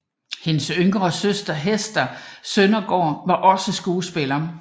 Hendes yngre søster Hester Sondergaard var også skuespiller